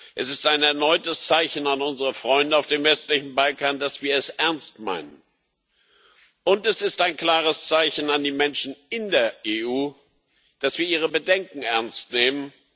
Es ist ein erneutes Zeichen an unsere Freunde auf dem westlichen Balkan, dass wir es ernst meinen, und es ist ein klares Zeichen an die Menschen in der EU, dass wir ihre Bedenken ernst nehmen.